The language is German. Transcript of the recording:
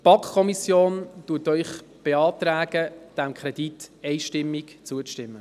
Die BaK beantragt Ihnen einstimmig, diesem Kredit zuzustimmen.